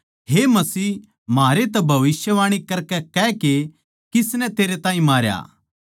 हे मसीह म्हारै तै भविष्यवाणी करकै कह के किसनै तेरै ताहीं मारया